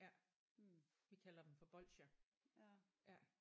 Ja vi kalder dem for bolsjer ja